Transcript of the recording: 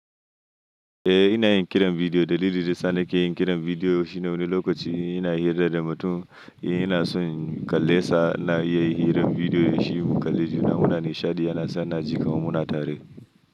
Eh ina yin kiran bidiyo. Dalilin da sa ni ke yin kiran bidiyo shine wani lokaci ina hira da mutum, ina son kalle sa na yi hirar bidiyo da shi mu kalli fina-finai. Shadi yana sa na ji kawun muna tare.